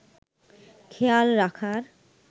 খেয়াল রাখার